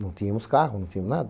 Não tínhamos carro, não tínhamos nada.